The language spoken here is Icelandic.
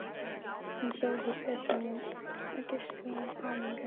Hann sá ekki betur en að hún geislaði af hamingju.